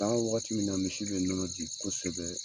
San waagati min na misi bɛ nɔnɔ di kosɛbɛ.